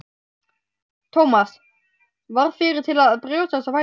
Thomas varð fyrri til að brjótast á fætur.